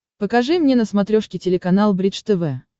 покажи мне на смотрешке телеканал бридж тв